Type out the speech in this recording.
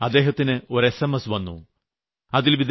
ഒരു ദിവസം അദ്ദേഹത്തിന് ഒരു എസ്എംഎസ് വന്നു